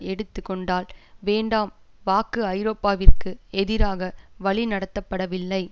எடுத்து கொண்டால் வேண்டாம் வாக்கு ஐரோப்பாவிற்கு எதிராக வழிநடத்தப்படவில்லை